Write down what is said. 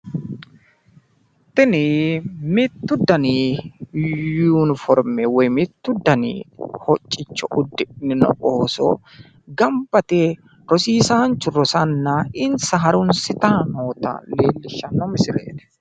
tini mittu dani yuniforme woy mittu dani hocicho udidhino ooso ganba yite rosiisaanchu rosiisanna insa harunisitanni noota leellishshanno misileeti.